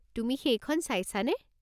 তুমি সেইখন চাইছা নে?